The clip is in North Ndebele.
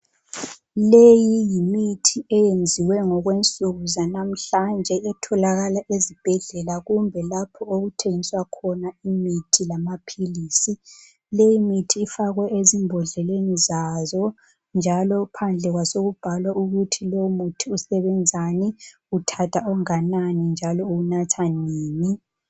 Leyi yimithi eyenziwe ngokwensuku zanamhlanje etholakala ezibhedlela kumbe lapho okuthengiswa khona imithi lamaphilisi. Leyi mithi ifakwe ezimbodleleni zazo njalo phandle kwasokubhalwa ukuthi lomuthi usebenzani, uthatha onganani njalo uwunatha nini.